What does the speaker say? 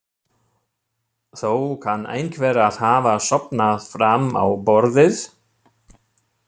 Þó kann einhver að hafa sofnað fram á borðið.